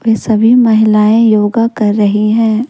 सभी महिलाएं योगा कर रही है।